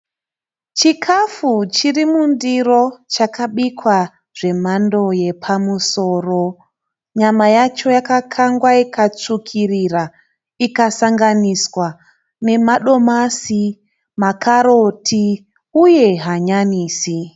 Chikafu chirimundiro chakabikwa zvemhando yepamusoro. Nyama yacho yakakangwa ikatsvukirira ikasanganiswa nemadomasi, makaroti uye hanyanisi,